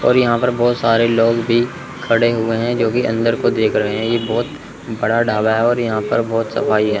और यहां पर बहोत सारे लोग भी खड़े हुए हैं जो की अंदर को देख रहे हैं ये बहोत बड़ा ढाबा है और यहां पर बहोत सफाई हैं।